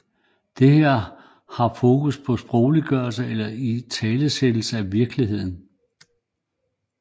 Det der her fokus på er sprogliggørelsen eller italesættelsen af virkeligheden